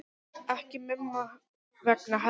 Ekki Mumma vegna heldur.